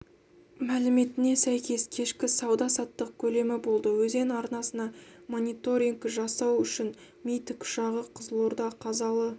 мәліметіне сәйкес кешкі сауда-саттық көлемі болды өзен арнасына мониторингі жасау үшін ми тікұшағы қызылорда қазалы